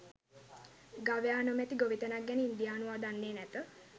ගවයා නොමැති ගොවිතැනක් ගැන ඉන්දියානුවා දන්නේ නැත.